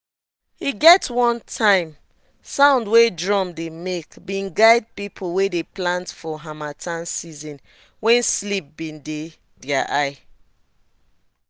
e get one time sound wey drum dey make been guide people wey dey plant for harmattan season wen sleep been dey their eye